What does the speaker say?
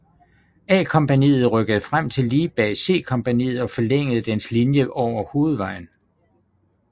A kompagniet rykkede frem til lige bag C kompaniet og forlængede dens linje over hovedvejen